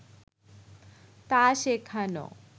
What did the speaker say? তা শেখানো